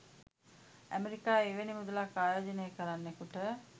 අමෙරිකාවේ එවැනි මුදලක් ආයෝජනය කරන්නෙකුට